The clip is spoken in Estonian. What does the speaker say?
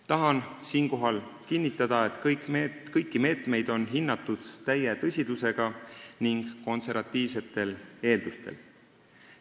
Tahan siinkohal kinnitada, et kõiki meetmeid on hinnatud täie tõsidusega, lähtudes konservatiivsetest eeldustest.